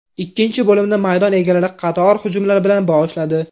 Ikkinchi bo‘limni maydon egalari qator hujumlar bilan boshladi.